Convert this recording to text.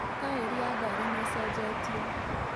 Taeri ya ngari nĩĩcenjetio